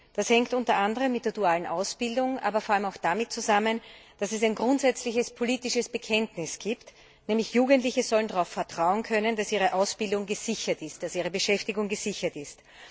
Das hängt unter anderem mit der dualen Ausbildung, aber vor allem auch damit zusammen, dass es ein grundsätzliches politisches Bekenntnis gibt Jugendliche sollen darauf vertrauen können, dass ihre Ausbildung gesichert ist, dass ihre Beschäftigung gesichert ist.